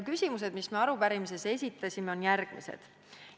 Küsimused, mis me arupärimises esitasime, on järgmised.